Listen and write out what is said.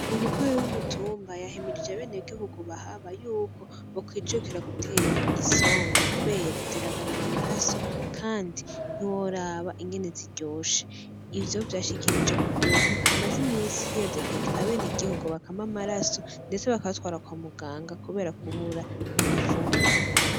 Umukuru w'umutumba yahimirije abene gihugu bahaba, yuko bokwijukira gutera isombe kubera ziragarura amaraso. Kandi ntiworaba ingene ziryoshe. Ivyo vyashikirijwe kukuntu hamaze imisi hiyadukiza abene gihugu bakama amaraso ndetse bakabatwara kwamuganga kubera kubura ibifungugwa.